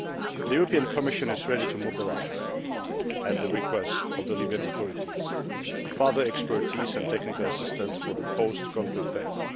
the European Commission is ready to mobilise, at the request of the Libyan authorities, further expertise and technical assistance for the post conflict phase.